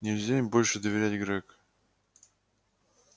нельзя им больше доверять грег